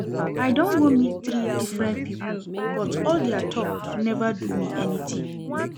I don go meet three different people but all dia talk never do me anything